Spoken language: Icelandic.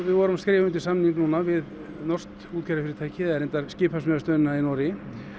vorum að skrifa undir samning núna við norskt útgerðarfyrirtæki eða reyndar skipasmíðastöðina í Noregi